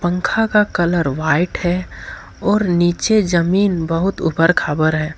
पंखा का colour white है और नीचे जमीन बहुत ऊपर खबर है।